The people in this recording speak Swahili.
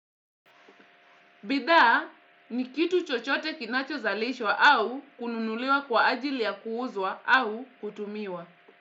Bidhaa ni kitu chochote kinacho zalishwa au kununuliwa kwa ajili ya kuuzwa au kutumiwa.